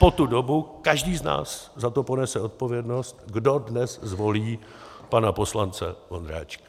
Po tu dobu každý z nás za to ponese odpovědnost, kdo dnes zvolí pana poslance Vondráčka.